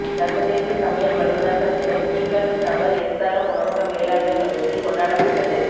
சர்வதேச சமையல் வல்லுனர்கள் தினம் ஈக்காட்டுத்தாங்கல் எஸ்ஆர்எம் உணவக மேலாண்மை கல்லூரியில் கொண்டாடப்பட்டது